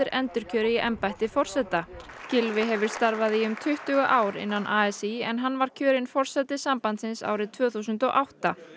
endurkjöri í embætti forseta Gylfi hefur starfað í um tuttugu ár innan a s í en hann var kjörinn forseti sambandsins árið tvö þúsund og átta